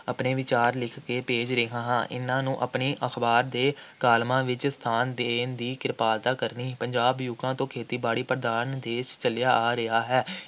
ਆਪਣੇ ਵਿਚਾਰ ਲਿਖ ਕੇ ਭੇਜ ਰਿਹਾ ਹਾਂ । ਇਨ੍ਹਾਂ ਨੂੰ ਆਪਣੀ ਅਖ਼ਬਾਰ ਦੇ ਕਾਲਮਾਂ ਵਿਚ ਸਥਾਨ ਦੇਣ ਦੀ ਕਿਰਪਾਲਤਾ ਕਰਨੀ। ਪੰਜਾਬ ਯੁੱਗਾਂ ਤੋਂ ਖੇਤੀ-ਬਾੜੀ ਪ੍ਰਧਾਨ ਦੇਸ਼ ਚੱਲਿਆ ਆ ਰਿਹਾ ਹੈ ।